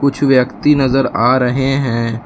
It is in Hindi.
कुछ व्यक्ति नजर आ रहे हैं।